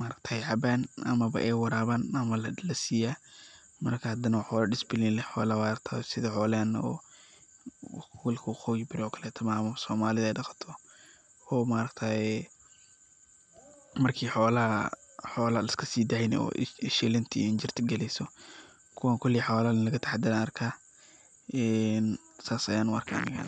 maragtaye caban amaba ay waraban ama lasiyaa, marka hadana waa xoolo disbilin leh xoolaha waa aragtayo, sidhaa xolahena oo gobolka waqoyi bari oo kaleto maahan Somalida ay daqato oo maaragateye marki xolaaha laiska sidayni oo shilinta iyo injirta galeyso, kuwaan koley xoolo laga taxadere arkayaa een sas ayan u arkaya aniga.